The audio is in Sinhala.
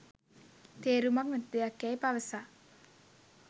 තේරුමක් නැති දෙයක් යැයි පවසා